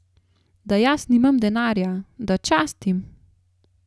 Da jaz nimam denarja, da častim?